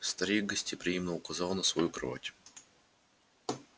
старик гостеприимно указал на свою кровать